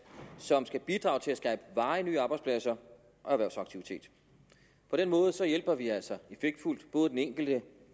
som skal bidrage til at skabe varige nye arbejdspladser og erhvervsaktivitet på den måde hjælper vi altså effektfuldt både den enkelte